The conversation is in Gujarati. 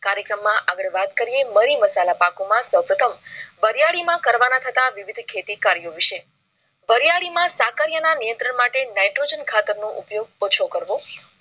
કાર્યક્રમ માં આગળ વાત કરી મરી મસાલા પાકો માં સૌપ્રથમ વરિયાળી માં કરવાના થતા વિવિધ ખેતી કાર્યો વિશે. વેરિયાળી માં સાકડીયાના નિયંત્રણ વિસય nitrogen ખાતરનો ઉપયોગ ઓછો કરવો.